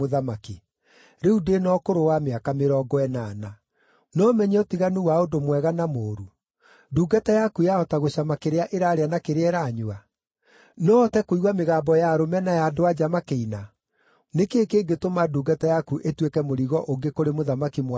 Rĩu ndĩ na ũkũrũ wa mĩaka mĩrongo ĩnana. No menye ũtiganu wa ũndũ mwega na mũũru? Ndungata yaku yahota gũcama kĩrĩa ĩrarĩa na kĩrĩa ĩranyua? No hote kũigua mĩgambo ya arũme na ya andũ-a-nja makĩina? Nĩ kĩĩ kĩngĩtũma ndungata yaku ĩtuĩke mũrigo ũngĩ kũrĩ mũthamaki mwathi wakwa?